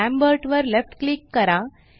Lambert वर left click करा